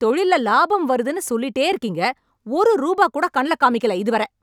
தொழில்ல லாபம் வருதுன்னு சொல்லிட்டே இருக்கீங்க, ஒரு ரூபா கூட கண்ல காமிக்கல இதுவர.